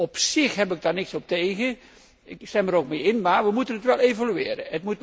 Op zich heb ik daar niets op tegen, ik stem er ook mee in, maar we moeten het wel evalueren.